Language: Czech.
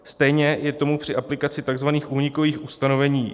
Stejně je tomu při aplikaci tzv. únikových ustanovení.